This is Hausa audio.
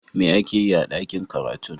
Me ake yi a dakin karatun?